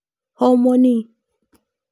Homoni.